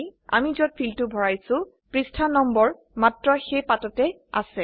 আমি যত fieldটো ভৰাইছো পৃষ্ঠা নম্বৰ মাত্ৰ সেই পাততে আছে